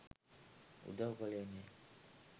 උදව් කළේ නැහැ.